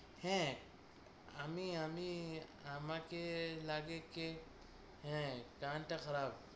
হ্যাঁ আমি আমি আমাকে লাগে কে হ্যাঁ টানটা খারাপ